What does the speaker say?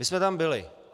My jsme tam byli.